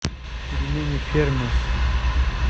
пельмени фермер